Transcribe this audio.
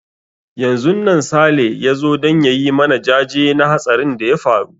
Yanzun nan Sale ya zo don ya yi mana jaje na hatsarin da ya faru.